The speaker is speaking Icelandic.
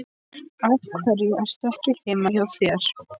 Af hverju ertu ekki heima hjá þér?